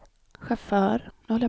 chaufför